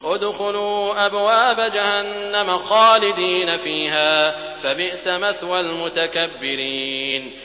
ادْخُلُوا أَبْوَابَ جَهَنَّمَ خَالِدِينَ فِيهَا ۖ فَبِئْسَ مَثْوَى الْمُتَكَبِّرِينَ